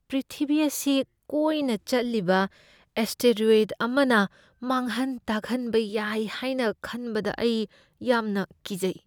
ꯄ꯭ꯔꯤꯊꯤꯚꯤ ꯑꯁꯤ ꯀꯣꯏꯅ ꯆꯠꯂꯤꯕ ꯑꯦꯁꯇꯦꯔꯣꯏꯗ ꯑꯃꯅ ꯃꯥꯡꯍꯟ ꯇꯥꯛꯍꯟꯕ ꯌꯥꯏ ꯍꯥꯏꯅ ꯈꯟꯕꯗ ꯑꯩ ꯌꯥꯝꯅ ꯀꯤꯖꯩ꯫